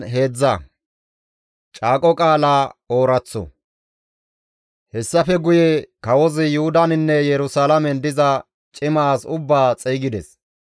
Hessafe guye kawozi Yuhudaninne Yerusalaamen diza cima as ubbaa xeygides;